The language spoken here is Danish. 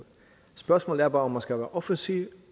spørgsmålet er bare om man skal være offensiv